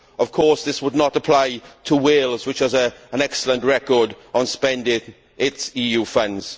Of course this would not apply to Wales, which has an excellent record on spending its EU funds.